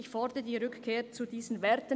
Ich fordere die Rückkehr zu diesen Werten.